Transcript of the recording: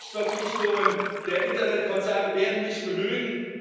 Selbstverpflichtungen der Internetkonzerne werden nicht genügen.